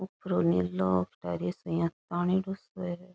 ऊपर ऊ नीलो --